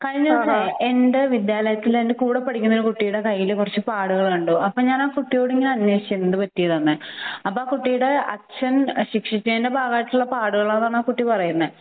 കഴിഞ്ഞ വര്ഷം എന്റെ വിദ്യാലയത്തിൽ എന്റെ കൂടെ പഠിക്കുന്ന കുട്ടിയുടെ കയ്യിൽ .കുറെ പാടുകൾ കണ്ടു . അപ്പോൾ ഞാൻ ആ കുട്ടിയോട് അന്വേഷിച്ചിരുന്നു എന്ത് പറ്റിയതാണെന്ന് അപ്പൊ കുട്ടിയുടെ അച്ഛൻ ശിക്ഷിച്ചതിന്റെ പാടുകളെന്നാണ് ആ കുട്ടി പറയുന്നത്